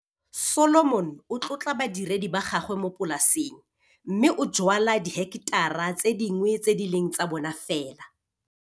Solomon o tlotla badiredi ba gagwe mo polaseng mme o jwala diheketara tse dingwe tse di leng tsa bona fela.